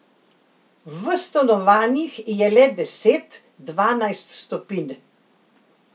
V stanovanjih je le deset, dvanajst stopinj.